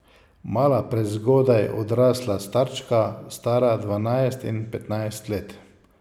Mala, prezgodaj odrasla starčka, stara dvanajst in petnajst let.